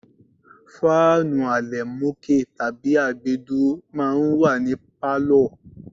Fáànù àlẹ̀mókè tàbí àgbédúró máa ń wà ní pálọ̀.